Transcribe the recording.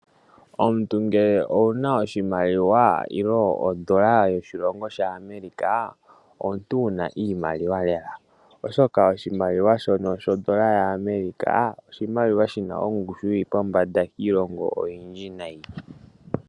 Omuntu ngele owuna oshimaliwa nenge odola yo shilongo shaAmerika, omuntu wuna iimaliwa lela. oshoka oshimaliwa shono sho dola yaAmerika, oshimaliwa shina ongushu yili pombanda kiilongo oyindji nayi.